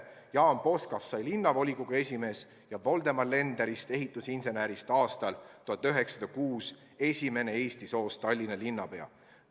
Jaan Poskast sai linnavolikogu esimees ja ehitusinsener Voldemar Lenderist aastal 1906 esimene eesti soost Tallinna linnapea.